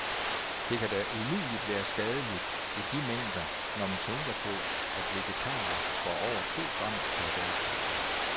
Det kan da umuligt være skadeligt i de mængder, når man tænker på, at vegetarer får over to gram per dag.